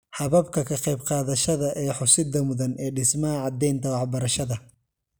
Hababka ka qaybqaadashada ee xusidda mudan ee dhismaha caddaynta waxbarashada